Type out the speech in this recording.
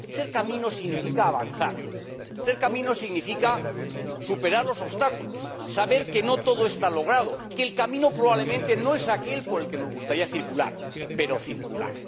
Ser camino significa avanzar, ser camino significa superar los obstáculos, saber que no todo está logrado, que el camino probablemente no es aquel por el que nos gustaría circular, pero circular.